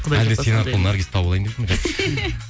әлде сен арқылы наргизды тауып алайын